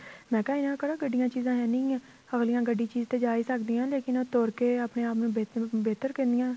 ਮੈਂ ਕਿਹਾ ਇਹਨਾ ਕੋਲ ਕਿਹੜਾ ਗੱਡੀਆਂ ਚੀਜ਼ਾਂ ਹੈ ਨਹੀਂ ਗਈਆਂ ਅੱਗਲੀਆਂ ਗੱਡੀ ਚੀਜ਼ ਦੇ ਜਾ ਹੀ ਸਕਦੀਆਂ ਨੇ ਲੇਕਿਨ ਉਹ ਤੁਰ ਕੇ ਆਪਣੇ ਆਪ ਨੂੰ ਬਿਹਤਰ ਕਹਿਣੀਆਂ